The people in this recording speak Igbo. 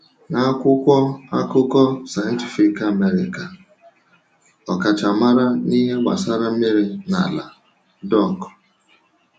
N’akwụkwọ akụkọ Scientific American, ọkachamara n’ihe gbasara mmiri na ala, Dr.